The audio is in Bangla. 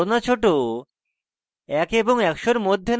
একের থেকে বড় না ছোট